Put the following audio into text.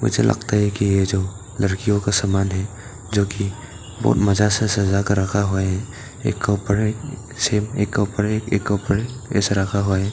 मुझे लगता है ही ये जो लड़कियों का सामान है जो कि बहुत मजा से सजाकर रखा हुआ है एक के उपर एक से एक के उपर एक एक के उपर एक ऐसे रखा हुआ है।